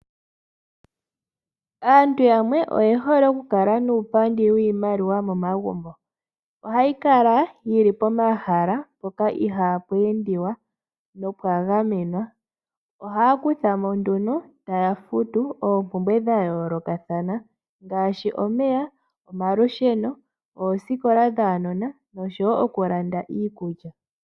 Aantu yamwe oye hole okukala nuupandi wiimaliwa momagumbo. Ohayi kala yi li pomahala mpoka ihaapu endwa, nopwa gamenwa. Ohaya kutha mo nduno, taya futu oompumbwe dha yoolokathana ngaashi omeya, omalusheno, oosikola dhaanona nosho wo okulanda iikulya.